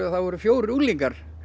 að það voru fjórir unglingar